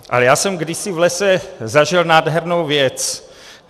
Ale já jsem kdysi v lese zažil nádhernou věc.